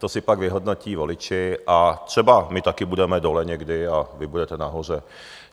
To si pak vyhodnotí voliči a třeba my také budeme dole, někdy, a vy budete nahoře.